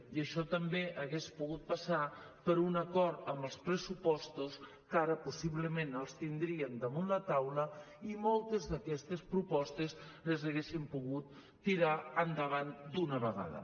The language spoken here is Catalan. i això també hagués pogut passar per un acord en els pressupostos que ara possiblement els tindríem damunt la taula i moltes d’aquestes propostes les haguéssim pogut tirar endavant d’una vegada